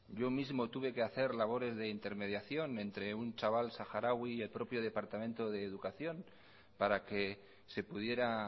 yo mismo tuve que hacer labores de intermediación entre un chaval saharaui y el propio departamento de educación para que se pudiera